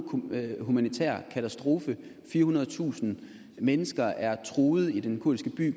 humanitær katastrofe firehundredetusind mennesker er truet i den kurdiske by